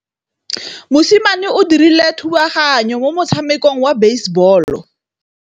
Mosimane o dirile thubaganyô mo motshamekong wa basebôlô.